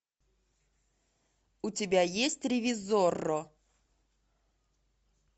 у тебя есть ревизорро